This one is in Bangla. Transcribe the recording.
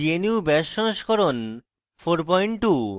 gnu bash সংস্করণ 42